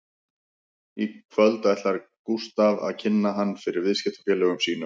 Í kvöld ætlar Gústaf að kynna hann fyrir viðskiptafélögum sínum